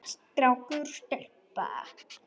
Strákur og stelpa.